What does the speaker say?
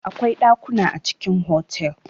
Akwai ɗakuna a cikin hotel.